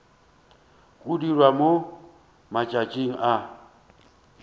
go dirwa mo matšatšing a